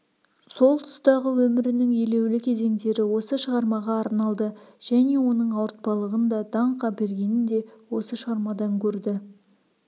сол тұстағы өмірінің елеулі кезеңдері осы шығармаға арналды және оның ауыртпалығын да даңқ әпергенін де осы шығармадан көрді